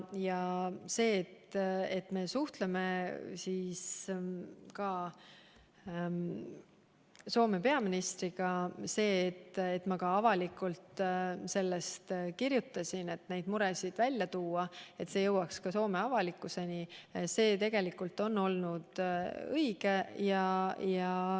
See, et me suhtleme Soome peaministriga ja et ma avalikult nendest muredest kirjutan, et need jõuaks ka Soome avalikkuseni, on tegelikult olnud õige.